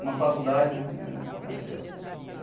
Uma faculdade né era aquela.